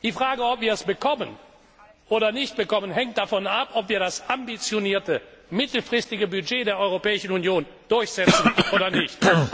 Die Frage, ob wir es bekommen oder nicht bekommen, hängt davon ab, ob wir das ambitionierte mittelfristige Budget der Europäischen Union durchsetzen oder nicht.